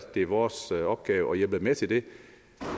det vores opgave at hjælpe med til det